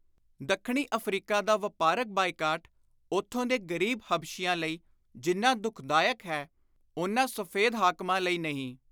ਦੱਖਣੀ ਅਫ਼ਰੀਕਾ ਦਾ ਵਾਪਾਰਕ ਬਾਈਕਾਟ ਉਥੋਂ ਦੇ ਗ਼ਰੀਬ ਹਬਸ਼ੀਆਂ ਲਈ ਜਿੰਨਾ ਦੁਖਦਾਇਕ ਹੈ, ਓਨਾ ਸਫ਼ੈਦ ਹਾਕਮਾਂ ਲਈ ਨਹੀਂ।